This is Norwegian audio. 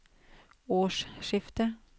årsskiftet